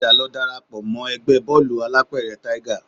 Padà lọ dara pọ̀ mọ́ ẹgbẹ́ bóòlù alápẹ̀rẹ̀ Tiger